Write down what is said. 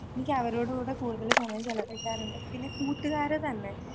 എനിക്ക് അവരോട് കൂടെ കൂടുതല് സമയം ചെലവഴിക്കാ കിട്ടാറുണ്ട്. പിന്നെ കൂട്ടുകാര് തന്നെ